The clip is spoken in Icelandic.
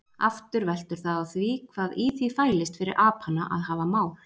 Aftur veltur það á því hvað í því fælist fyrir apana að hafa mál.